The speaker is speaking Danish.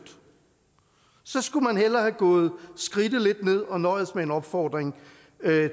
så skulle man hellere have gået skridtet lidt ned og nøjedes med en opfordring